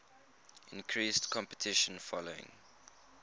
increased competition following